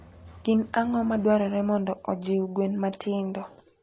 Gin ang'o madwarore mondo ojiw gwen matindo?